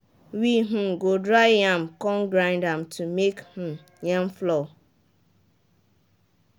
we um go dry yam come grind am to make um yam flour